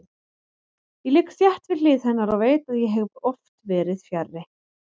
Ég ligg þétt við hlið hennar og veit að ég hef oft verið fjarri.